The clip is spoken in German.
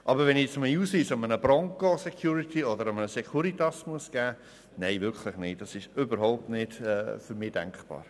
Dass ich meinen Ausweis aber einem Angestellten der Bronco-Security oder der Securitas zeigen soll, ist für mich überhaupt nicht denkbar.